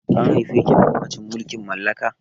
An haife ki a lokacin mulkin mallaka?